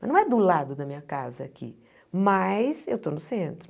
Mas não é do lado da minha casa aqui, mas eu estou no centro.